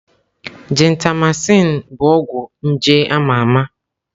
Gentamaịsin bụ ọgwụ nje a ma ama.